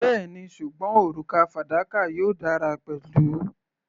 Bẹ́ẹ̀ni, ṣùgbọ́n òrùka fadakà yóò dára pẹ̀lú.